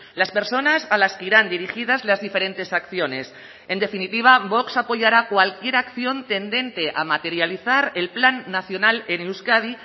las personas a las que irán dirigidas las diferentes acciones en definitiva vox apoyará cualquier acción tendente a materializar el plan nacional en euskadi